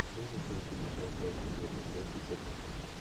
можешь найти мне трансляцию между челси и тоттенхэмом